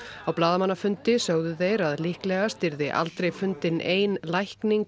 á blaðamannafundi sögðu þeir að líklegast yrði aldrei fundin ein lækning